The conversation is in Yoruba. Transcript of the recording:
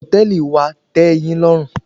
Ṣé hòtẹ́ẹ̀lì wa tẹ́ẹ yín lọ́rùn?